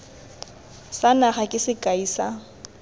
sa naga ke sekai sa